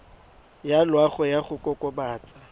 ya loago ya go kokobatsa